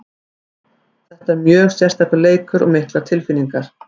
Þetta er mjög sérstakur leikur og miklar tilfinningar.